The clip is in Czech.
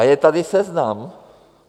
A je tady seznam.